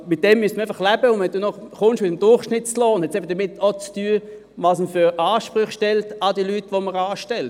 Damit muss man einfach leben, und wenn man noch mit dem Durchschnittslohn kommt, hat es einfach damit zu tun, welche Ansprüche man an die Leute stellt, die man anstellt.